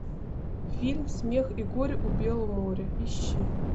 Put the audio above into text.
фильм смех и горе у белого моря ищи